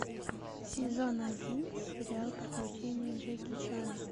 сезон один сериал приключения джеки чана